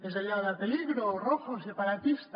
és allò de peligro rojo separatista